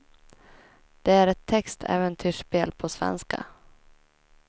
Det är ett text äventyrsspel på svenska.